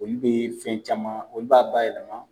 Oyu bɛ fɛn caman, olu b'a ba yɛlɛma.